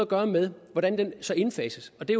gøre med hvordan den så indfases og det